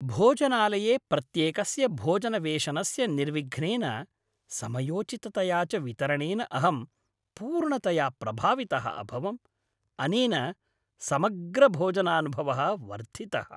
भोजनालये प्रत्येकस्य भोजनवेषनस्य निर्विघ्नेन, समयोचिततया च वितरणेन अहं पूर्णतया प्रभावितः अभवम्। अनेन समग्रभोजनानुभवः वर्धितः।